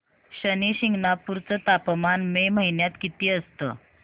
शनी शिंगणापूर चं तापमान मे महिन्यात किती असतं